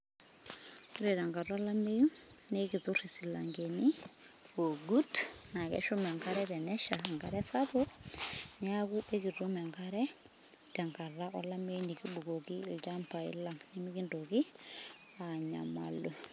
Ore tenkata olameyu, naa ekiturr isilankeni, oogut, naa keshum enkare sapuk tenesha, neaku ekitum enkare tenkata olameyu nekibukoki ilchambai lang' nemekintoki aanyamalu.